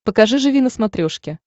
покажи живи на смотрешке